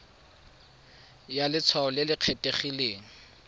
ya letshwao le le kgethegileng